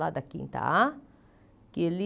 Lá da Quinta A, que ele...